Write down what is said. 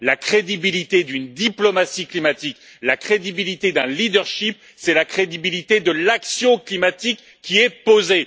La crédibilité d'une diplomatie climatique, la crédibilité d'un leadership c'est la crédibilité de l'action climatique qui est posée.